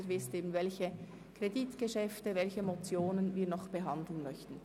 Sie sehen dort, welche Kreditgeschäfte und Motionen wir noch behandeln möchten.